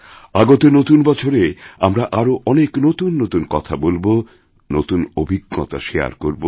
আগত নতুনবছরে আমরা আরও অনেক নতুন নতুন কথা বলব নতুন অভিজ্ঞতা শারে করব